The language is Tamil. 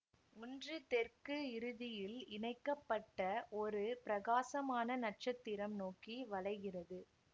ஒன்று தெற்கு இறுதியில் இணைக்க பட்ட ஒரு பிரகாசமான நட்சத்திரம் நோக்கி வளைகிறது